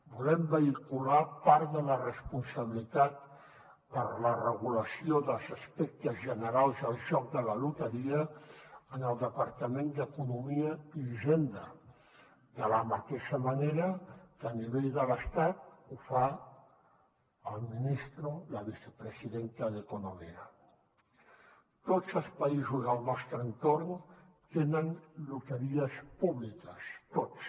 volem vehicular part de la responsabilitat per a la regulació dels aspectes generals del joc de la loteria en el departament d’economia i hisenda de la mateixa manera que a nivell de l’estat ho fa el ministro la tots els països del nostre entorn tenen loteries públiques tots